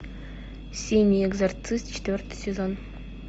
синий экзорцист четвертый сезон